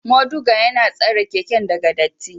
Moduga yana tsare keken daga dirty.